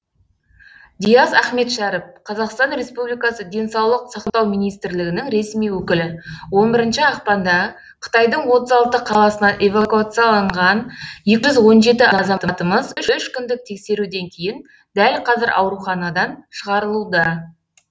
диас ахметшәріп қазақстан республикасы денсаулық сақтау министрлігінің ресми өкілі он бірінші ақпанда қытайдың отыз алты қаласынан эвакуацияланған екі жүз он жеті азаматымыз үш күндік тексеруден кейін дәл қазір ауруханадан шығарылуда